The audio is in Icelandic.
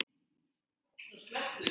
Ertu Tólfa?